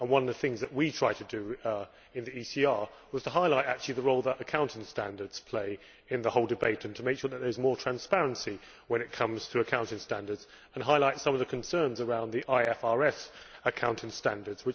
One of the things that we tried to do in the ECR was to highlight the role that accounting standards play in the whole debate, to make sure that there is more transparency when it comes to accounting standards, and to highlight some of the concerns around IFRS accounting standards.